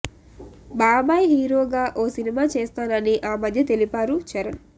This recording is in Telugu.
బాబాయ్ హీరోగా ఓ సినిమా చేస్తానని ఆ మధ్య తెలిపారు చరణ్